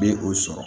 Bɛ o sɔrɔ